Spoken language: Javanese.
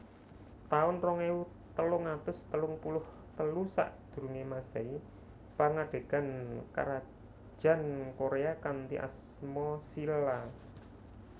taun rong ewu telung atus telung puluh telu Sakdurunge Masehi Pangadegan Karajan Korea kanthi asma Shilla